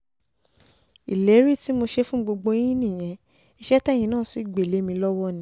ìlérí tí mo ṣe fún gbogbo yín nìyẹn iṣẹ́ tẹ́yin náà sì gbé lé mi lọ́wọ́ ni